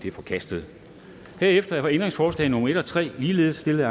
er forkastet herefter er ændringsforslag nummer en og tre ligeledes stillet af